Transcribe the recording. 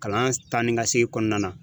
Kalan taa ni ka segin kɔnɔna na.